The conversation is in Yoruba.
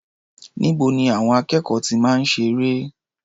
Níbo ni àwọn akẹ́kọ̀ọ́ ti máa ń ṣeré?